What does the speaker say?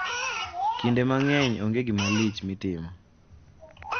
Kinde mang`eny onge gima lich ma itimo.